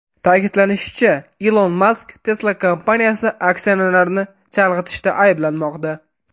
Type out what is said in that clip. Ta’kidlanishicha, Ilon Mask Tesla kompaniyasi aksionerlarini chalg‘itishda ayblanmoqda.